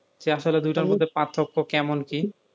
যে আসলে দুইটার মধ্যে পার্থক্য কেমন কি?